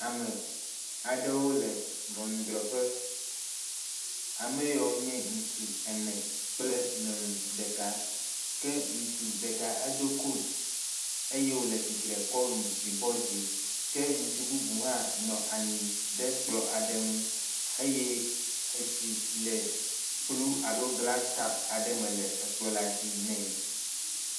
Ame aɖewo le ŋɔnudrɔƒe, ame yawo nye ŋutsu ene kple nyɔnu ɖeka ke ŋutsu ɖeka edo kotu eye wole tsitre kɔ nu ɖusi bɔ dzi ke ŋutsu bubu hã nɔ anyi ɖe kplɔ̃ ŋu eye etsi le kplu alo glasi kɔpu aɖe me le kplɔ̃ la dzi nɛ.